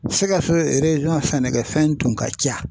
SIKASO sɛnɛkɛfɛn tun ka ca.